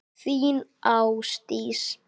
Þín, Ásdís.